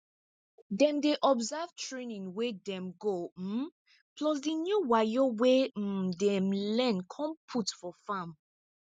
dem dey observe trianing wey dem go um plus di new wayo wey um dem learn con put for farm